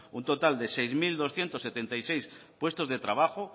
un total de seis mil doscientos setenta y seis puestos de trabajo